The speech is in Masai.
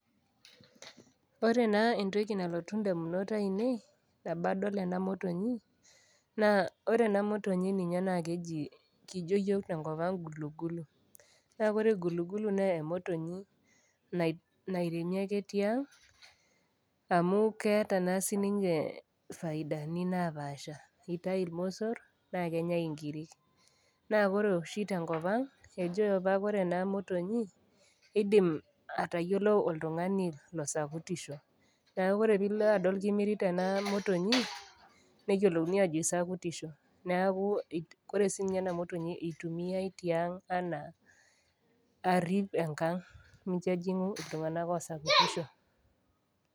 Ore naa entoki nalotu indamunot ainei, nabo adol ena motonyi, naa ore ena motonyi neji, kijo iyiok te enkop ang' Gulugulu, naa ore Gulugulu naa emotonyi nairemi ake tiang' amu keata naa sininye ifaidani napaasha, eitayu ilmosor, naa kenyai inkirik naa ore oshi tenkop ang' ejoi opa ore ena motonyi, eidim atayiolou oltung'ani losakutisho, neeaku ore pee ilo aadol kimirita ena motonyi, neyiolouni aajo isakutisho, neaku ore sii ninye ena motonyi eitumiyai tiang' anaa arp enkang' mincho ejing'u iltung'ana osakutisho.